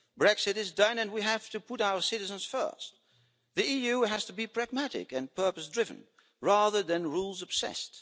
Brexit is done and we have to put our citizens first. The EU has to be pragmatic and purpose driven rather than rules-obsessed